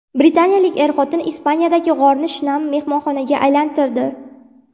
Britaniyalik er-xotin Ispaniyadagi g‘orni shinam mehmonxonaga aylantirdi .